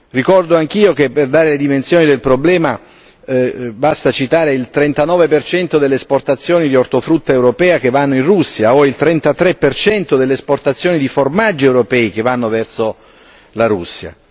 Ricordo anch'io che per dare le dimensioni del problema basta citare il 39 per cento delle esportazioni di ortofrutta europea che vanno in Russia o il 33 per cento delle esportazioni di formaggi europei che vanno verso la Russia.